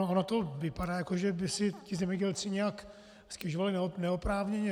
Ono to vypadá, jak že by si ti zemědělci nějak stěžovali neoprávněně.